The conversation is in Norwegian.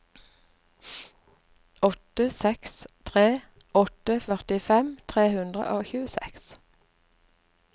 åtte seks tre åtte førtifem tre hundre og tjueseks